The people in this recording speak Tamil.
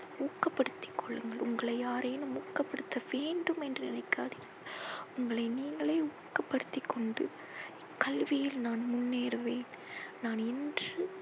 ஊக்கப்படுத்தி கொள்ளுங்கள். உங்களை யாரேனும் ஊக்கப்படுத்த வேண்டும் என்று நினைக்காதீர். உங்களை நீங்களே ஊக்கப்படுத்தி கொண்டு கல்வியில் நான் முன்னேறுவேன். நான் இன்று